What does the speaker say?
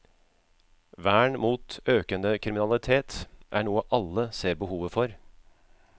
Vern mot økende kriminalitet er noe alle ser behovet for.